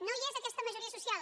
no hi és aquesta majoria social